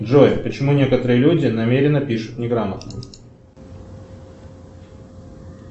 джой почему некоторые люди намеренно пишут неграмотно